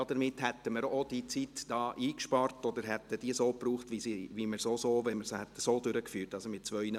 Damit hätten wir auch die Zeit eingespart oder hätten sie so verwendet, wie wenn wir die Debatte in zwei Malen durchgeführt hätten.